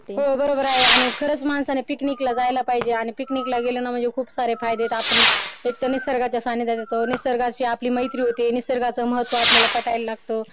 हो बरोबर आहे आणि खरंच माणसाने पिकनिकला जायला पाहिजे आणि पिकनिकला गेलो म्हणजे खूप सारे फायदे आहेत आपण एक तर निसर्गाच्या सानिध्यात येतो निसर्गाची मैत्री होते निसर्गाचं महत्व आपल्याला पटायला लागत